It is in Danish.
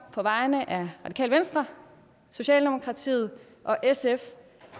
på vegne af radikale venstre socialdemokratiet og sf